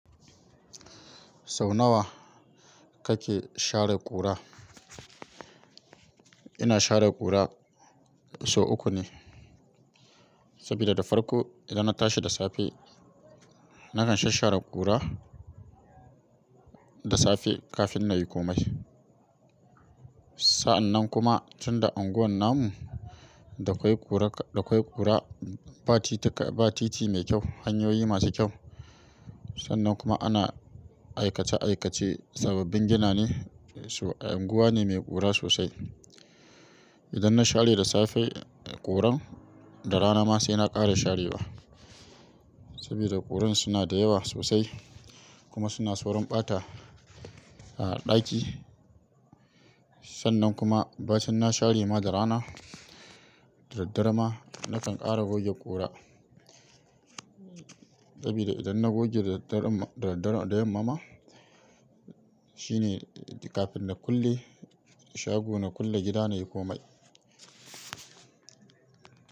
Sau nawa, kake share ƙura? Ina share ƙura sau uku ne. Sabida da farko idan na tashi da safe, nakan shasshare ƙura, da safe kafin na yi komai. Sa'annan kuma, tunda anguwan namu da kwai ƙura, da kwai ƙura ba titi mai kyau, hanyoyi masu kyau. Sannan kuma ana aikace-aikace, sababbin gina ne, anguwa ne mai ƙura sosai. Idan na share da safe ƙuran, da rana ma sai na ƙara sharewa. Saboda ƙuran suna da yawa sosai kuma suna saurin ɓata a ɗaki. Sannan kuma, bacin na share ma da rana, da daddare ma nakan ƙara goge ƙura. Sabida idan na goge da daddare da yamma ma, shine kafin na kulle shago, na kulle gida nayi ko mai.